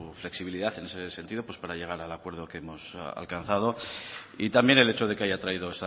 flexibilidad en ese sentido para llegar al acuerdo que hemos alcanzado y también el hecho de que haya traído